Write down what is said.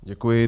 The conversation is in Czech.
Děkuji.